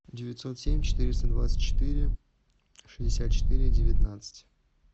девятьсот семь четыреста двадцать четыре шестьдесят четыре девятнадцать